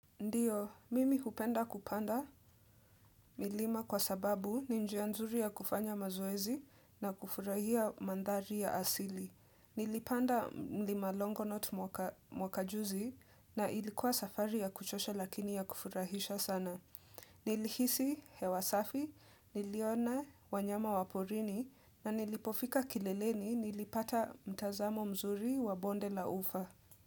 Ndiyo, mimi hupenda kupanda milima kwa sababu ni njia nzuri ya kufanya mazoezi na kufurahia manthari ya asili. Nilipanda mlima longonot mwaka juzi na ilikuwa safari ya kuchosha lakini ya kufurahisha sana. Nilihisi hewasafi, niliona wanyama waporini na nilipofika kileleni nilipata mtazamo mzuri wa bonde la ufa.